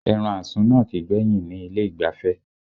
Ẹran àsun náà kìí gbẹ́yìn ni ilé ìgbafẹ́